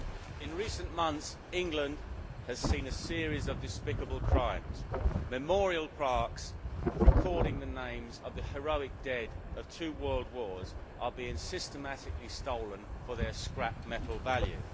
Madam President, in recent months England has seen a series of despicable crimes memorial plaques recording the names of the heroic dead of two world wars are being systematically stolen for their scrap metal value.